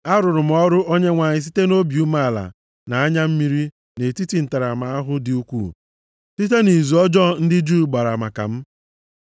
Arụrụ m ọrụ Onyenwe anyị site nʼobi umeala na anya mmiri nʼetiti ntaramahụhụ dị ukwuu, site nʼizu ọjọọ ndị Juu gbara maka m.